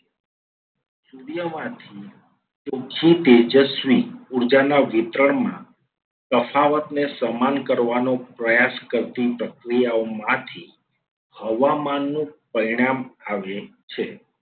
સૂર્યમાંથી ઉંચી તેજસ્વી ઊર્જાના વિતરણ માં તફાવતને સમાન કરવાનો પ્રયાસ કરતી પ્રક્રિયાઓ માંથી હવામાનનું પરિણામ આવે છે.